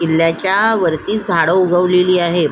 किल्याच्यावरती झाड उगवलेली आहेत.